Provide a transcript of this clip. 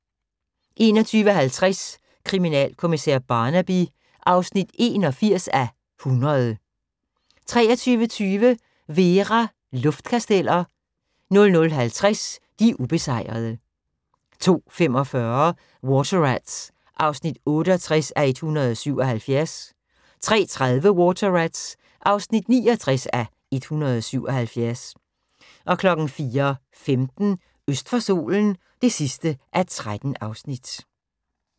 21:50: Kriminalkommissær Barnaby (81:100) 23:20: Vera: Luftkasteller 00:50: De ubesejrede 02:45: Water Rats (68:177) 03:30: Water Rats (69:177) 04:15: Øst for solen (13:13)